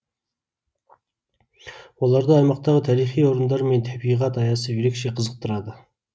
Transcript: оларды аймақтағы тарихи орындар мен табиғат аясы ерекше қызықтырады